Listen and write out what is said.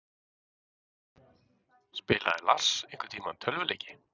Spilaði Lars einhverntímann tölvuleiki?